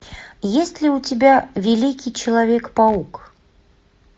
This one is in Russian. есть ли у тебя великий человек паук